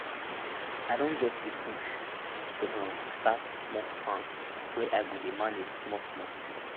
i don get di push to um take start small farm wey i go dey manage small small